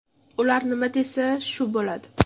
Ular nima desa, shu bo‘ladi.